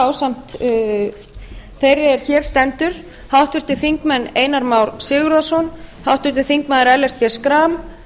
ásamt þeirri er hér stendur háttvirtir þingmenn einar már sigurðarson háttvirtir þingmenn ellert b schram